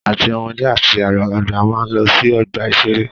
Àti ọmọdé àti àgbàlagbà máa ń lọ sí ọgbà-ìṣeré